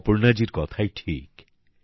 অপর্ণা জীর কথাই ঠিক